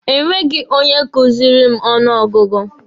E nweghi onye kuziri m ọnụ ọgụgụ.